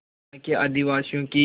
यहाँ के आदिवासियों की